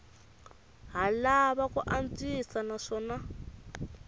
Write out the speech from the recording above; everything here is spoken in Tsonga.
ha lava ku antswisiwa naswona